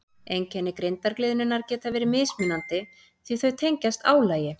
Einkenni grindargliðnunar geta verið mismunandi því að þau tengjast álagi.